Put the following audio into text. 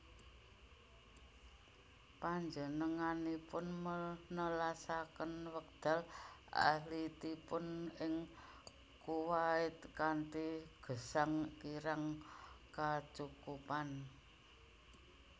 Panjenenganipun nelasaken wekdal alitipun ing Kuwait kanthi gesang kirang kacukupan